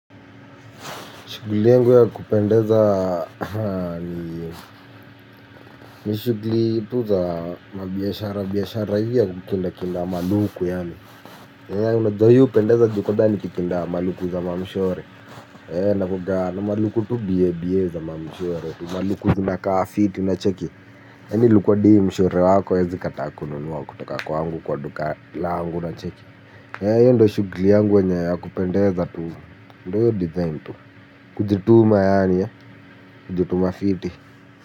Shuguli yangu ya kupendeza ni shuguli tu za mabiashara biashara hii ya kukinda kinda maluku yaani hea unadohi upendeza jukodani kikinda maluku za mamishore. Hea nakuaga na maluku tu bie bie za mamishore tu maluku zina kaa fiti na cheki. Hea ni luku adi mshore wako aezi kataa kununua kutoka kwaangu kwa duka laangu inacheki. Hea iyo ndo shuguli yangu ya kupendeza tu ndo yo design tu. Kujituma yaani ya jituma fiti.